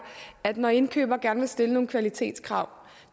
at når indkøberen gerne vil stille nogle kvalitetskrav